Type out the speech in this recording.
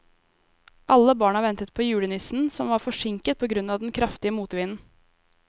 Alle barna ventet på julenissen, som var forsinket på grunn av den kraftige motvinden.